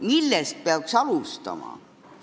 Millest peaks alustama?